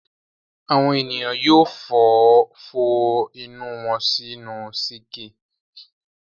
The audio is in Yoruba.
Àwọn ènìyàn yóò fọ inú wọn sínú síńkì.